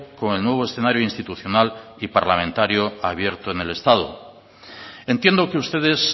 con el nuevo escenario institucional y parlamentario abierto en el estado entiendo que ustedes